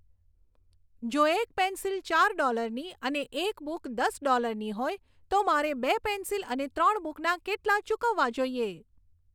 જો એક પેન્સિલ ચાર ડોલરની અને એક બુક દસ ડોલરની હોય તો મારે બે પેન્સિલ અને ત્રણ બુકના કેટલાં ચૂકવવા જોઈએ